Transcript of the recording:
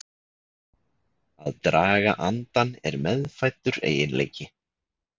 Að draga andann er meðfæddur eiginleiki.